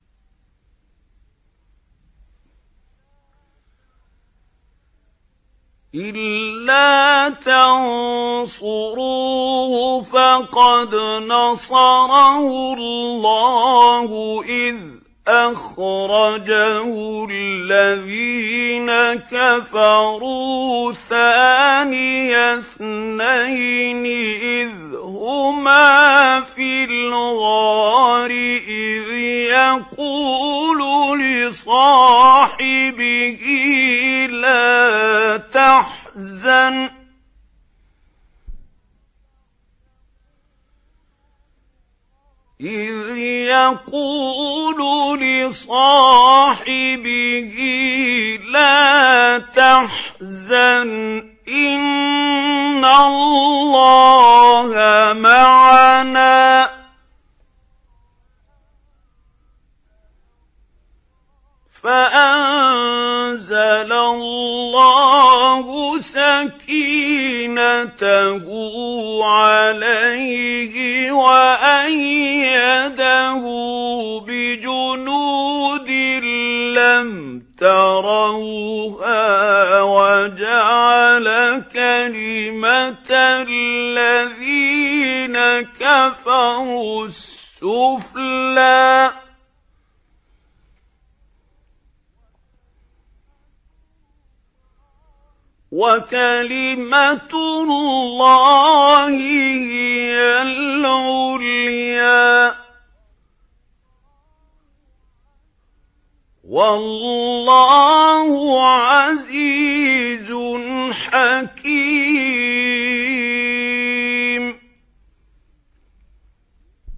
إِلَّا تَنصُرُوهُ فَقَدْ نَصَرَهُ اللَّهُ إِذْ أَخْرَجَهُ الَّذِينَ كَفَرُوا ثَانِيَ اثْنَيْنِ إِذْ هُمَا فِي الْغَارِ إِذْ يَقُولُ لِصَاحِبِهِ لَا تَحْزَنْ إِنَّ اللَّهَ مَعَنَا ۖ فَأَنزَلَ اللَّهُ سَكِينَتَهُ عَلَيْهِ وَأَيَّدَهُ بِجُنُودٍ لَّمْ تَرَوْهَا وَجَعَلَ كَلِمَةَ الَّذِينَ كَفَرُوا السُّفْلَىٰ ۗ وَكَلِمَةُ اللَّهِ هِيَ الْعُلْيَا ۗ وَاللَّهُ عَزِيزٌ حَكِيمٌ